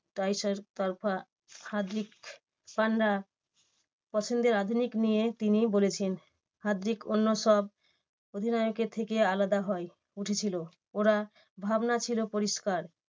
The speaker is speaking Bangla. হার্দিক পান্ডিয়া পছন্দের আধুনিক নিয়ে তিনি বলেছেন। হার্দিক অন্য সব অধিনায়কের থেকে আলাদা হয় উঠেছিল। ওরা ভাবনা ছিল পরিষ্কার।